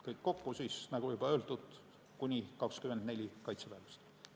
Kõik kokku on, nagu juba öeldud, kuni 24 kaitseväelast.